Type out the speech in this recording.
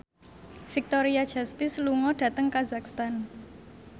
Victoria Justice lunga dhateng kazakhstan